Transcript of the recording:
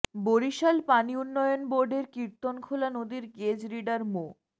বরিশাল পানি উন্নয়ন বোর্ডের কীর্তনখোলা নদীর গেজ রিডার মো